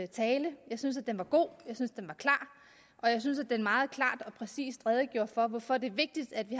tale jeg synes at den var god jeg synes at den var klar og jeg synes at den meget klart og præcist redegjorde for hvorfor det er vigtigt at vi